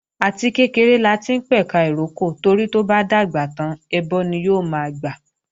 Àti kékeré láti ń pẹ̀ka ìrókò torí tó bá dàgbà tán ẹbọ ni yóò máa gbà